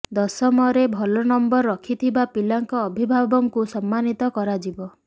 ଦଶମରେ ଭଲ ନମ୍ବର ରଖିଥିବା ପିଲାଙ୍କ ଅଭିଭାବକଙ୍କୁ ସମ୍ମାନିତ କରାଯିବ